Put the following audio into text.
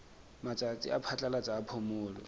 matsatsi a phatlalatsa a phomolo